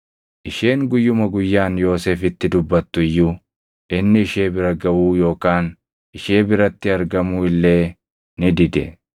Isheen guyyuma guyyaan Yoosefitti dubbattu iyyuu, inni ishee bira gaʼuu yookaan ishee biratti argamuu illee ni dide.